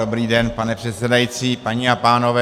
Dobrý den, pane předsedající, paní a pánové.